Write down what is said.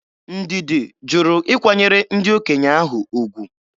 Ndidi jụrụ ịkwanyere ndị okenye ahụ ugwu.